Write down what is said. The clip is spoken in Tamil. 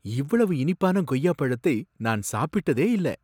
இவ்வளவு இனிப்பான கொய்யாப் பழத்தை நான் சாப்பிட்டதே இல்ல!